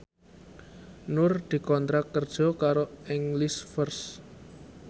Nur dikontrak kerja karo English First